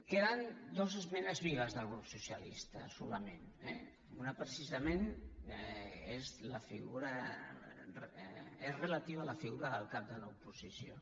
queden dues esmenes vives del grup socialista solament eh una precisament és relativa a la figura del cap de l’oposició